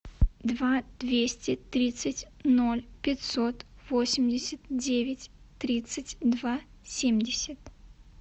два двести тридцать ноль пятьсот восемьдесят девять тридцать два семьдесят